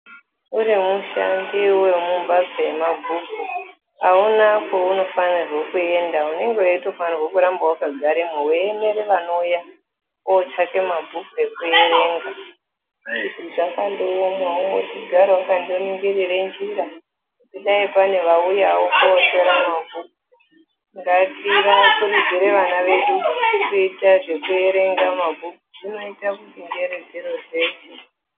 Kune ashandiwo emumphatso yemabhuku aunakwaunofanirwa kuenda. Unenge weitofanirwa kuramba wakagaremwo weimirira neuya uchade mabhuku ekuerenga . Zvakandoomawo weigara wakandoningirira njira kuti dai panewauyawo kotora mabhuku. Ngativakurudzire vana vedu kuita zvekuerenga mabhuku zvinoita kuti njere dzirodzeke.